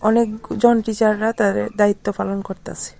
অনেকজন টিচার -রা তাদের দায়িত্ব পালন করতাসে।